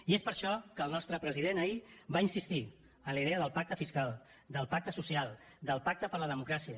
i és per això que el nostre president ahir va insistir en la idea del pacte fiscal del pacte social del pacte per la democràcia